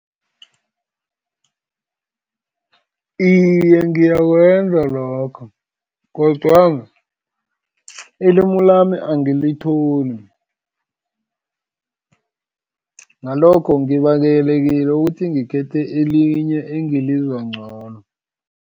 Iye, ngiyakwenza lokho, kodwana ilimu lami angalitholi, ngalokho ngibangelekile ukuthi ngikhethe elinye engilizwa ngcono.